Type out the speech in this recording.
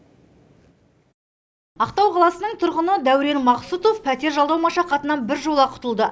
ақтау қаласының тұрғыны дәурен мақсұтов пәтер жалдау машақатынан біржола құтылды